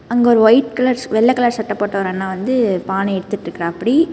அங்க ஒரு white colour வெள்ளை கலர் சட்டை ஒரு அண்ணா வந்து பானை எடுத்துட்டுருக்காப்படி.